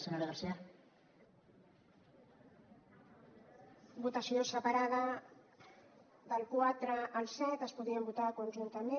votació separada del quatre al set es podrien votar conjuntament